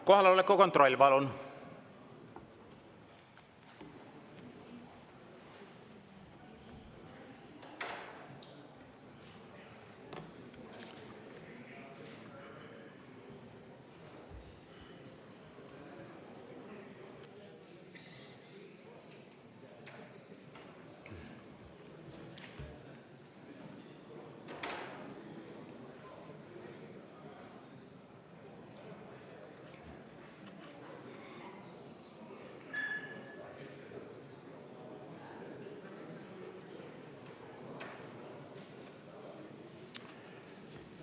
Kohaloleku kontroll, palun!